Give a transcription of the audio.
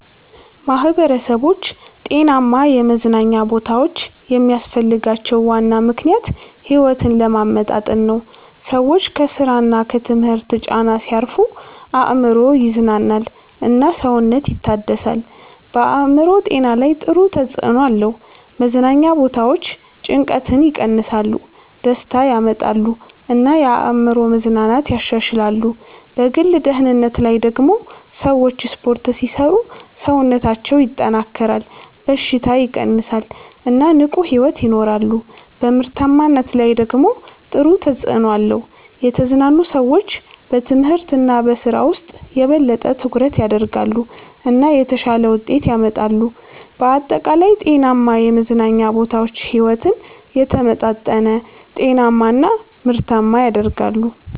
ማህበረሰቦች ጤናማ የመዝናኛ ቦታዎች የሚያስፈልጋቸው ዋና ምክንያት ሕይወትን ለማመጣጠን ነው። ሰዎች ከስራ እና ከትምህርት ጫና ሲያርፉ አእምሮ ይዝናናል እና ሰውነት ይታደሳል። በአእምሮ ጤና ላይ ጥሩ ተጽዕኖ አለው። መዝናኛ ቦታዎች ጭንቀትን ይቀንሳሉ፣ ደስታ ያመጣሉ እና የአእምሮ መዝናናትን ያሻሽላሉ። በግል ደህንነት ላይ ደግሞ ሰዎች ስፖርት ሲሰሩ ሰውነታቸው ይጠናከራል፣ በሽታ ይቀንሳል እና ንቁ ሕይወት ይኖራሉ። በምርታማነት ላይ ደግሞ ጥሩ ተጽዕኖ አለው። የተዝናኑ ሰዎች በትምህርት እና በስራ ውስጥ የበለጠ ትኩረት ያደርጋሉ እና የተሻለ ውጤት ያመጣሉ። በአጠቃላይ ጤናማ የመዝናኛ ቦታዎች ሕይወትን የተመጣጠነ፣ ጤናማ እና ምርታማ ያደርጋሉ።